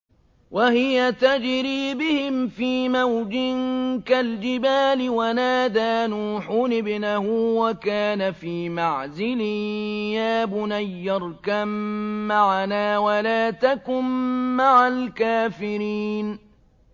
وَهِيَ تَجْرِي بِهِمْ فِي مَوْجٍ كَالْجِبَالِ وَنَادَىٰ نُوحٌ ابْنَهُ وَكَانَ فِي مَعْزِلٍ يَا بُنَيَّ ارْكَب مَّعَنَا وَلَا تَكُن مَّعَ الْكَافِرِينَ